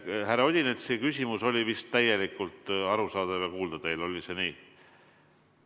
Härra Odinetsi küsimus oli vist täielikult arusaadav ja kuuldav teile, oli see nii?